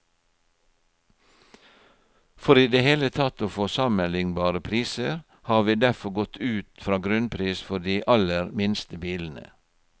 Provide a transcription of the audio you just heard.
For i det hele tatt å få sammenlignbare priser, har vi derfor gått ut fra grunnpris for de aller minste bilene.